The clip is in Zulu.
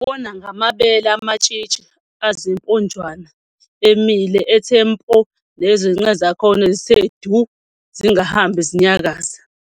Ubona ngamabele amatshitshi azimponjwana emile ethe mpo nezinqe zakhona zithe du zingahambi zinyakaza.